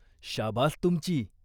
"शाबास तुमची.